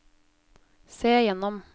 se gjennom